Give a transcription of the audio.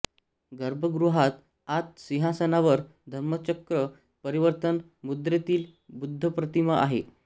गर्भगृहात आत सिंहासनावर धम्मचक्र परिवर्तन मुद्रेतील बुद्धप्रतिमा आहे